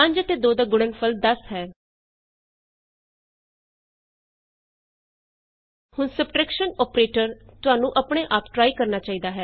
product of 5ਐਂਡ 2 is 1000 ਹੁਣ subtraction operators ਤੁਹਾਨੂੰ ਆਪਣੇ ਆਪ ਟਰਾਈ ਕਰਨਾ ਚਾਹੀਦਾ ਹੈ